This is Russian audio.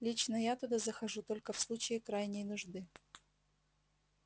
лично я туда захожу только в случае крайней нужды